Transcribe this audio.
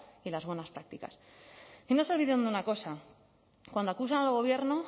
y las buenas prácticas y no se olviden de una cosa cuando acusan al gobierno